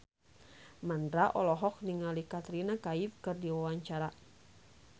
Mandra olohok ningali Katrina Kaif keur diwawancara